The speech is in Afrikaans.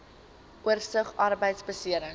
oorsig arbeidbeserings